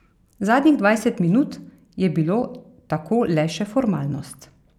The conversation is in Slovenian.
Zadnjih dvajset minut je bilo tako le še formalnost.